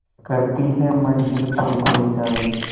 करती है मंजिल तुझ को इशारे